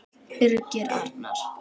Birgir Arnar.